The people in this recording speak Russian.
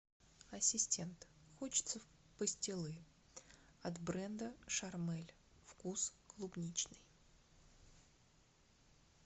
ассистент хочется пастилы от бренда шармель вкус клубничный